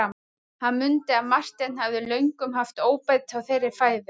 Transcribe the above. Hann mundi að Marteinn hafði löngum haft óbeit á þeirri fæðu.